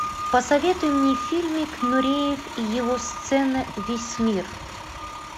посоветуй мне фильмик нуреев его сцена весь мир